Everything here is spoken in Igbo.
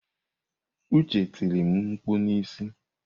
Uche tiri m mkpụ n'isi.